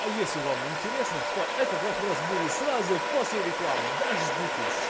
а если вам интересно то этот вопрос будет сразу после рекламы дождитесь